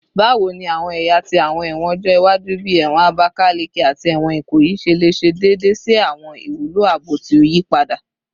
Bawo ni awọn ẹya ti awọn ẹwọn ọjọ iwaju, bii ẹwọn Abakaleke ati ẹwọn Ikoyi, ṣe le ṣe deede si awọn iwulo aabo ti o yipada?